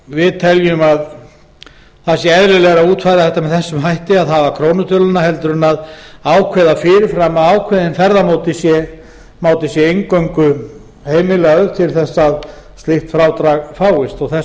við teljum eðlilegra að útfæra þetta með þessum hætti að hafa krónutöluna en að ákveða fyrirfram að ákveðinn ferðamáti sé eingöngu heimilaður til að slíkt frádrag fáist þess